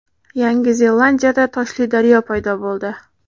Yangi Zelandiyada toshli daryo paydo bo‘ldi .